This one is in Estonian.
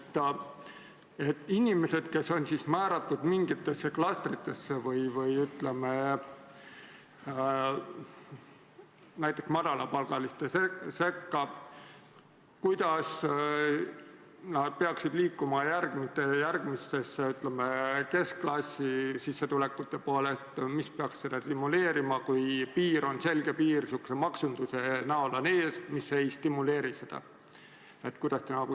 Kuidas inimesed, kes on määratud mingitesse klastritesse või näiteks madalapalgaliste sekka, peaksid liikuma, ütleme, keskklassi sissetulekute poole, mis peaks seda stimuleerima, kui selge piir on niisuguse maksunduse näol ees, mis ei stimuleeri seda?